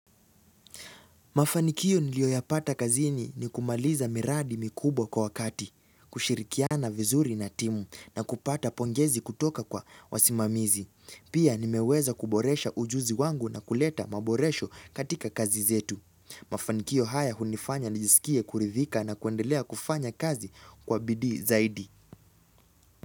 Mafanikio nilioyapata kazini ni kumaliza miradi mikubwa kwa wakati, kushirikiana vizuri na timu na kupata pongezi kutoka kwa wasimamizi. Pia nimeweza kuboresha ujuzi wangu na kuleta maboresho katika kazi zetu. Mafanikio haya hunifanya nijisikie kuridhika na kuendelea kufanya kazi kwa bidii zaidi.